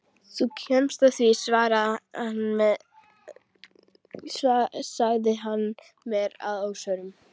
Þú kemst að því sagði hann mér að óvörum.